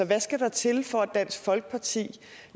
hvad skal der til for at dansk folkeparti